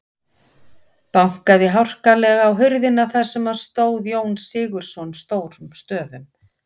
Bankaði harkalega á hurðina þar sem stóð Jón Sigurðsson stórum stöfum.